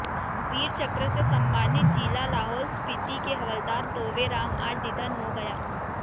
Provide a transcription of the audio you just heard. वीर चक्र से सम्मानित जिला लाहौल स्पीति के हवलदार तोवे राम आज निधन हो गया